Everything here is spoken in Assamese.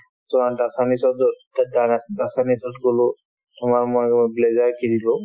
ত গ'লো তোমাৰ ময়ো blazer কিনিলো